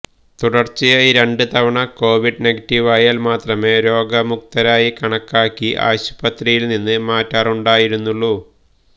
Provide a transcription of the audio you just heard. തുടർച്ചയായി രണ്ട് തവണ കോവിഡ് നെഗറ്റീവ് ആയാൽ മാത്രമേ രോഗമുക്തരായി കണക്കാക്കി ആശുപത്രിയിൽ നിന്ന് മാറ്റാറുണ്ടായിരുന്നുള്ളൂ